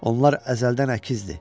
Onlar əzəldən əkizdir.